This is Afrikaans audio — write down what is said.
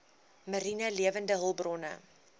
mariene lewende hulpbronne